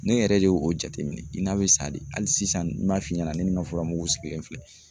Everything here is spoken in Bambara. Ne yɛrɛ de y'o o jateminɛ i n'a be sa de hali sisan n m'a f'i ɲɛna ne ni n ka fura mugu sigilen filɛ